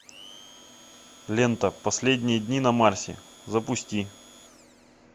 лента последние дни на марсе запусти